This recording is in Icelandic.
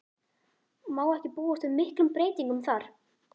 Má ekki búast við miklum breytingum þar?